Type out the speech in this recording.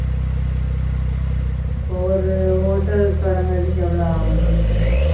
இப்ப ஒரு hotel தொடங்குரத்துக்கு எவ்வளவு ஆகும் நீ சொல்லு